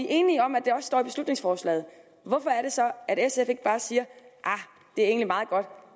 er enige om at det også står i beslutningsforslaget hvorfor er det så at sf ikke bare siger det er egentlig meget godt